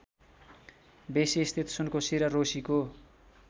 बेसीस्थित सुनकोशी र रोसीको